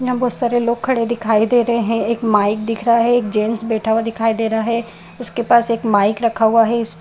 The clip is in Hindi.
यहाँ बहुत सारे लोग खड़े हुए दिखाई दे रहे हैं | एक माइक दिखाई दे रहा है | एक जेंट्स बैठा हुआ दिखाई दे रहा है उसके पास एक माइक रखा हुआ है | इस --